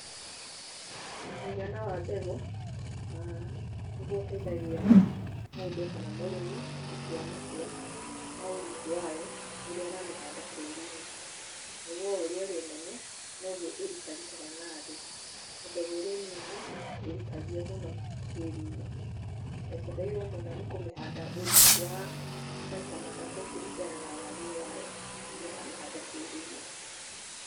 Mũigana wa mbegũ, nĩguo ũteithagia mũndũ kana mũrĩmĩ gũtua matua ma ũriku wayo, rĩrĩa aramĩhanda tĩri-inĩ. Nĩguo ũrĩa ĩrĩ nene, noguo ĩrikarikaga na thĩ, mbegũ ĩrĩ nini, ndĩrikagio mũno tĩri-inĩ. Ũbatairwo mũno nĩ kũmĩhanda ũriku wa maita matatũ kũringana na wariĩ wayo rĩrĩa ũramĩhanda tĩri-inĩ.